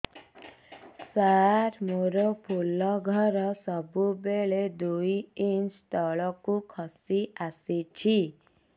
ସାର ମୋର ଫୁଲ ଘର ସବୁ ବେଳେ ଦୁଇ ଇଞ୍ଚ ତଳକୁ ଖସି ଆସିଛି